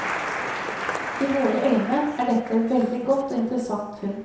I våre øyne er dette et veldig godt og interessant funn.